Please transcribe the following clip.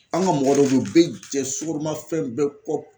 An ka mɔgɔ dɔw bɛ ye u bɛ jɛ sukaromafɛn bɛɛ kɔ.